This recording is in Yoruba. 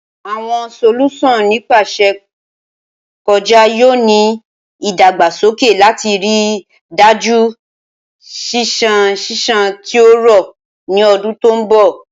Awọn solusan nipasẹ-kọja yoo ni idagbasoke lati rii daju ṣiṣan ṣiṣan ti o rọ ni ọdun to nbọ.